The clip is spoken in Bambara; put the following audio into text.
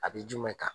A bɛ jumɛn kan